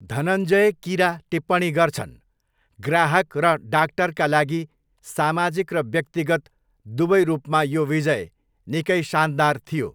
धनञ्जय किरा टिप्पणी गर्छन्, 'ग्राहक र डाक्टरका लागि सामाजिक र व्यक्तिगत दुवै रूपमा यो विजय निकै शानदार थियो।'